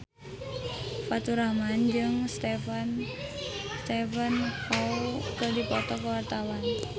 Faturrahman jeung Stephen Chow keur dipoto ku wartawan